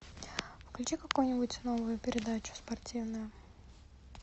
включи какую нибудь новую передачу спортивную